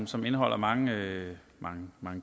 som indeholder mange mange